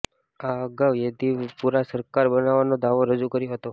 આ અગાઉ યેદિયુરપ્પાએ સરકાર બનાવવાનો દાવો રજુ કર્યો હતો